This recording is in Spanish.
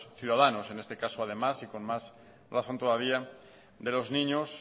ciudadanos en este caso y con más razón todavía de los niños